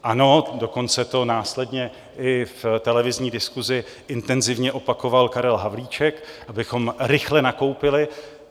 Ano, dokonce to následně i v televizní diskusi intenzivně opakoval Karel Havlíček, abychom rychle nakoupili.